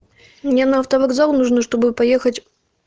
мне на автовокзал нужно чтобы поехать